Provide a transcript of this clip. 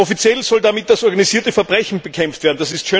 Offiziell soll damit das organisierte Verbrechen bekämpft werden.